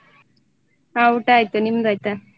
ಹ ಊಟ ಆಯ್ತು ನಿಮ್ದಾಯ್ತಾ?